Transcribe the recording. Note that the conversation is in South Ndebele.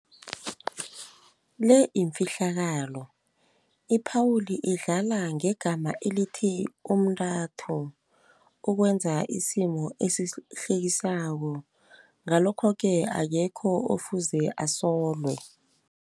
Le imfihlakalo, iphawuli idlala ngegama elithi umntathu ukwenza isimo esihlekisako. Ngalokho-ke akekho ofuze asolwe.